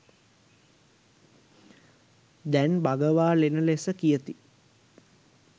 දැන් බගවා ලෙණ ලෙස කියති.